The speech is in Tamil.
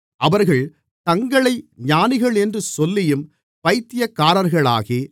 அவர்கள் தங்களை ஞானிகளென்று சொல்லியும் பைத்தியக்காரர்களாகி